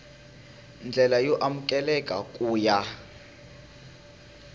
ndlela yo amukeleka ku ya